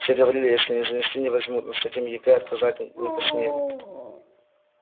все говорили если не занести не возьмут но с таким егэ отказать не посмели